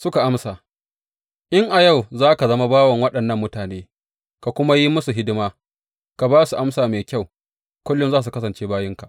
Suka amsa, In a yau za ka zama bawan waɗannan mutane, ka kuma yi musu hidima, ka ba su amsa mai kyau, kullum za su kasance bayinka.